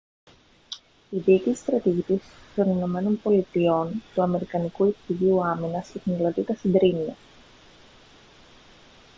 η διοίκηση στρατηγικής των ηνωμένων πολιτειών του αμερικανικού υπουργείου άμυνας ιχνηλατεί τα συντρίμμια